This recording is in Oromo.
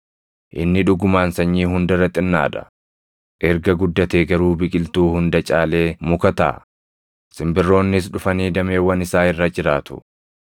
Inni dhugumaan sanyii hunda irra xinnaa dha; erga guddatee garuu biqiltuu hunda caalee muka taʼa; simbirroonnis dhufanii dameewwan isaa irra jiraatu.”